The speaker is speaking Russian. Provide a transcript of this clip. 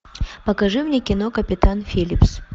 покажи мне кино капитан филлипс